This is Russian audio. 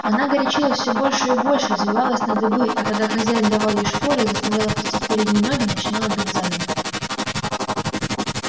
она горячилась все больше и больше взвивалась на дыбы а когда хозяин давал ей шпоры и заставлял опустить передние ноги начинала бить задом